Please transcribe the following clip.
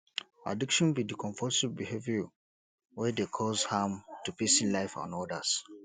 addiction be di compulsive behavior wey dey cause harm to pesin life and odas